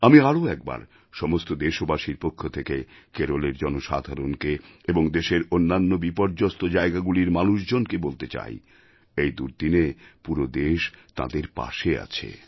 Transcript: আমি আরও একবার সমস্ত দেশবাসীর পক্ষ থেকে কেরলের জনসাধারণকে এবং দেশের অন্যান্য বিপর্যস্ত জায়গাগুলির মানুষজনকে বলতে চাই এই দুর্দিনে পুরো দেশ তাঁদের পাশে আছে